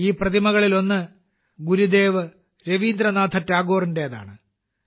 ഈ പ്രതിമകളിലൊന്ന് ഗുരുദേവ് രവീന്ദ്രനാഥ ടാഗോറിന്റെതാണ്